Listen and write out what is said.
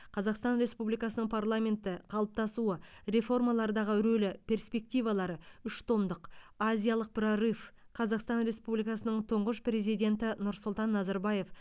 қазақстан республикасының парламенті қалыптасуы реформалардағы рөлі перспективалары үш томдық азиялық прорыв қазақстан республикасының тұңғыш президенті нұрсұлтан назарбаев